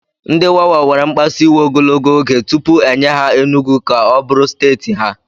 Ndị Wawa were mkpasu iwe ogologo oge tupu e nye ha Enugwu ka ọ bụrụ steeti ha